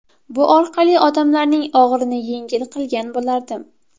Bu orqali odamlarning og‘irini yengil qilgan bo‘lardim.